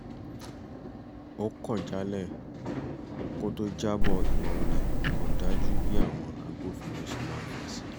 ó kọ̀ jálẹ̀ kó tó jábọ̀ ìwà olè kò dájú bí àwọn agbófinró ṣe maá fèsì